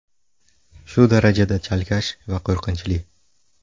Shu darajada chalkash va qo‘rqinchli.